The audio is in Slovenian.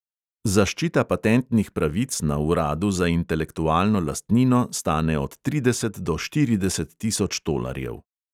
Zaščita patentnih pravic na uradu za intelektualno lastnino stane od trideset do štirideset tisoč tolarjev.